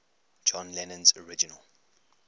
john lennon's original